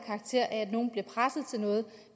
karakter af at nogen bliver presset til noget